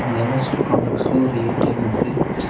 அந்த காம்ப்ளக்ஸ்ல ஒரு ஏ_டி_எம் இருக்கு.